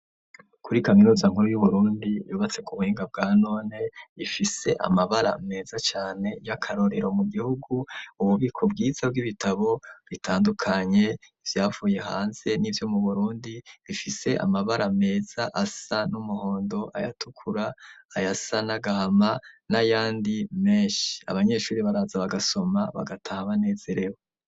Kuri kaminuzankuru y'uburundi yubatse ku buhinga bwa none ifise amabara meza cane y'akarorero mu gihugu ububiko bwiza bw'ibitabo bitandukanye vyavuye hanze n'ivyo mu burundi bifise amabara meza asa n'umuhondo ayatukura aya sa nagahama naya andi menshi abanyeshuri baraza bagasoma bagataha banezerewe.